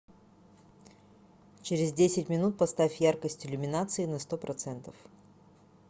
через десять минут поставь яркость иллюминации на сто процентов